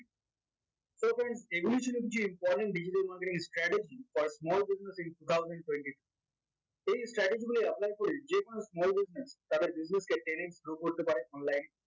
so friends দেখিয়েছিলাম যে important digital marketing strategy for small business এই strategy গুলোই apply করে যেকোনো small business তাদের business কে trade এ grow করতে পারে online এ